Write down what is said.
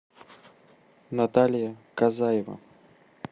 наталья казаева